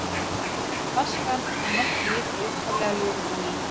Hins vegar leitar flaskan að nokkru leyti í upphaflega lögun á ný.